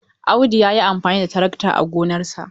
Audu ya yi amfani da tarakta a gonarsa.